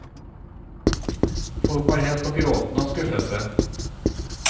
Folk var helt på gråten av skuffelse.